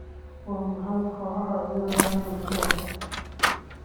waa maxay kooxaha ciyaaraya usbuucan